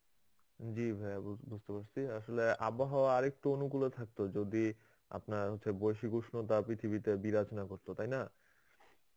জি ভায়া বুঝতে পারছি, আসলে আবহওয়া আর একটু অনুকূলে থাকতো যদি আপনার হচ্ছে বৈশিক উষ্ণতা পৃথিবীতে বিরাজ না করত. তাই না?